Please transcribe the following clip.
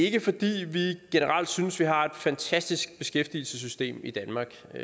ikke fordi vi generelt synes at vi har et fantastisk beskæftigelsessystem i danmark